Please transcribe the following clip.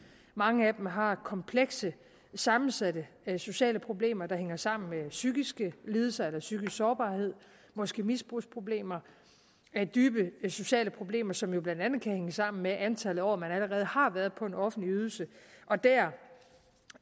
mange af dem har komplekse og sammensatte sociale problemer der hænger sammen med psykiske lidelser eller psykisk sårbarhed måske misbrugsproblemer dybe sociale problemer som jo blandt andet kan hænge sammen med antal år man allerede har været på en offentlig ydelse der